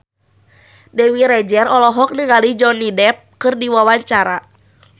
Dewi Rezer olohok ningali Johnny Depp keur diwawancara